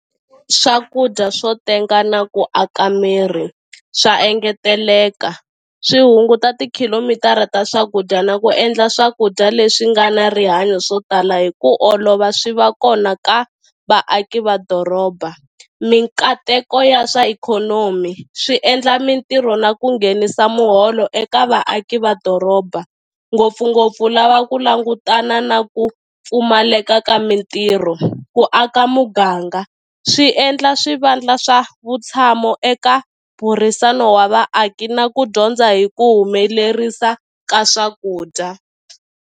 Swakudya swo tenga na ku aka miri swa engeteleka swi hunguta tikhilomitara ta swakudya na ku endla swakudya leswi nga na rihanyo swo tala hi ku olova swi va kona ka vaaki va doroba mikateko ya swa ikhonomi swi endla mitirho na ku nghenisa muholo eka vaaki va doroba ngopfungopfu lava ku langutana na ku pfumaleka ka mitirho ku aka muganga swi endla swivandla swa vutshamo eka burisano wa vaaki na ku dyondza hi ku humelerisiwa ka swakudya.